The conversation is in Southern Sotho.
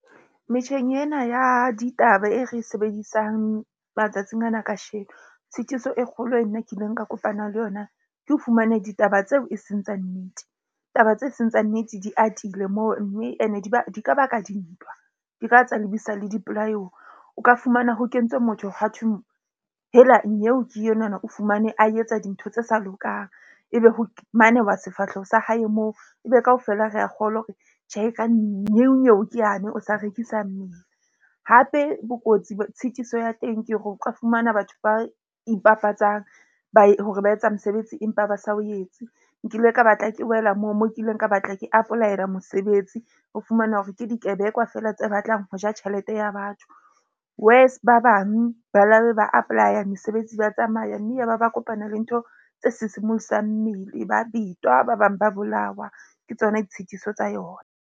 Metjheng ena ya ditaba e re sebedisang matsatsing ana, kasheko tshitiso e kgolo e nna ke ileng ka kopana le yona. Ke ho fumana ditaba tseo e seng tsa nnete. Taba tse seng tsa nnete di atile moo, mme ene e di ka ba ka dintwa . O ka fumana ho kentswe motho ha thweng hela nyeo ke enwa na o fumane a etsa dintho tse sa lokang. Ebe ho manewa sefahleho sa hae moo, ebe kaofela re a kgolwa hore tjhe, ka nyeo nyeo ke yane o sa rekisa mmele. Hape, bokotsi bo tshitiso ya teng ke hore o ka fumana batho ba ipapatsang hore ba etsa mosebetsi empa ba sa o etse. Nkile ka batla ke wela moo mo kileng ka batla ke apolaela mosebetsi. Ho fumana hore ke dikebekwa fela tse batlang ho ja tjhelete ya batho. Worse, ba bang ba labe ba apply-a mesebetsi, ba tsamaya mme ya ba ba kopana le ntho tse sisimosang mmele. Ba betwa ba bang ba bolawa ke tsona ditshitiso tsa yona.